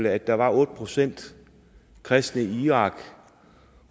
at der var otte procent kristne i irak